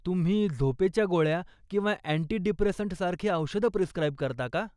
तुम्ही झोपेच्या गोळ्या किंवा अँटी डिप्रेसंट्सारखी औषधं प्रिस्क्राइब करता का?